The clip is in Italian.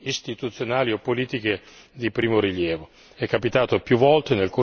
o svolge funzioni istituzionali o politiche di primo rilievo